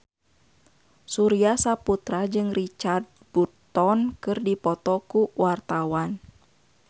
Surya Saputra jeung Richard Burton keur dipoto ku wartawan